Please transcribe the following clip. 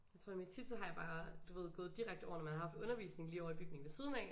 Jeg tror nemlig tit så har jeg bare du ved gået direkte over når man har haft undervisning lige ovre i bygningen ved siden af